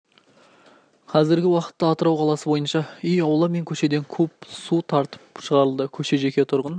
қазіргі уақытта атырау қаласы бойынша үй аула мен көшеден куб су тартып шығарылды көше жеке тұрғын